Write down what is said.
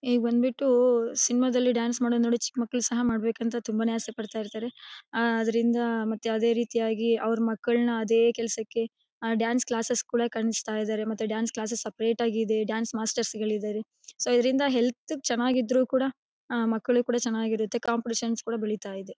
A ಬಂದ್ಬಿಟ್ಟು cinema ದಲ್ಲಿ dance ಮಾಡೋದ್ ನೋಡಿ ಚಿಕ್ಕ್ ಮಕ್ಕಳು ಸಹ ಮಾಡಬೇಕು ಅಂತ ತುಂಬಾನೇ ಅಸೆ ಪಡ್ತಾಯಿರ್ತಾರೆ. ಅದರಿಂದ ಯಾವುದೇ ರೀತಿಯಾಗಿ ಅವ್ರ್ ಮಕ್ಕಳನ್ನ ಅದೇ ಕೆಲ್ಸಕ್ಕೆ ಆ ಡಾನ್ಸ್ ಕ್ಲಾಸೆಸ್ ಕೂಡಾ ಕಳಿಸ್ತಾಯಿದ್ದರೆ ಮತ್ತೆ ಡಾನ್ಸ್ ಕ್ಲಾಸ್ ಸಪರೇಟ್ ಇದೆ ಡಾನ್ಸ್ ಮಾಸ್ಟರ್ಸ್ ಇದ್ದಾರೆ. ಸೊ ಇದರಿಂದ ಹೆಲ್ಥ್ ಗೆ ಚೆನ್ನಾಗಿದ್ರು ಕೂಡ ಮಕ್ಕಳಿಗೂ ಕೂಡ ಚೆನ್ನಾಗಿರುತ್ತೆ ಕಾಂಪಿಟಿಶನ್ಸ್ ಕೂಡ ಬೆಳಿತಾ ಇದೆ.